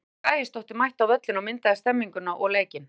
Eva Björk Ægisdóttir mætti á völlinn og myndaði stemmninguna og leikinn.